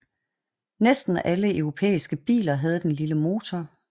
Næsten alle europæiske biler havde den lille motor